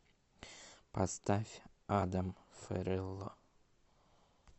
поставь адам ферелло